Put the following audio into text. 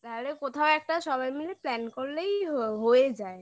তাহলে কোথাও একটা সবাই মিলে plan করলেই হয়ে যায়